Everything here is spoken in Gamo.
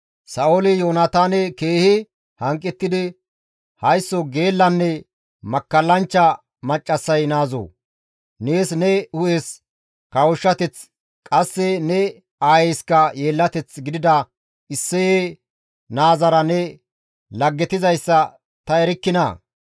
Sa7ooli Yoonataane keehi hanqettidi, «Haysso geellanne makkallanchcha maccassay naazoo! Nees ne hu7es kawushshateth qasse ne aayeyska yeellateth gidida Isseye naazara ne laggetizayssa ta erikkinaa!